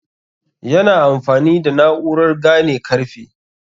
yana amfani da na'urar gane karfe